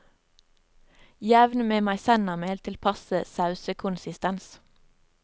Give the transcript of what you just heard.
Jevn med maisennamel til passe sausekonsistens.